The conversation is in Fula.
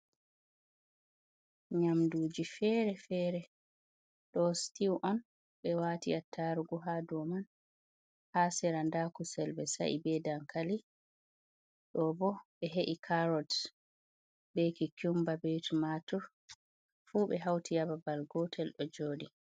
Nyamduji fere fere, ɗo stiw on ɓe wati attarugu ha dou man, ha sera nda kusel ɓe saie be dankali, ɗo bo ɓe he’i carot, be kikumba, be tumatur fu ɓe hauti ha babal gotel ɗo joɗi.